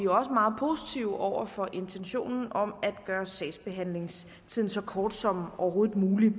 også meget positive over for intentionen om at gøre sagsbehandlingstiden så kort som overhovedet muligt